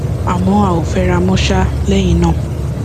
àmọ a ò fẹra mọ um lẹyìn náà